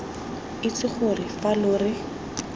itse gore fa lo re